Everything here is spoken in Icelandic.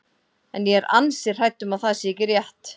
En ég er ansi hrædd um að það sé ekki rétt.